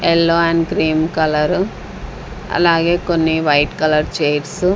yellow and cream colour అలాగే కొన్ని white colour chairs --